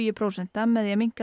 prósenta með því að minnka